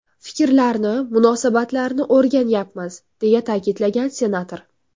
Fikrlarni, munosabatlarni o‘rganyapmiz”, deya ta’kidlagan senator.